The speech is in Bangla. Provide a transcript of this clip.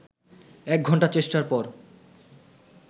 একঘণ্টা চেষ্টার পর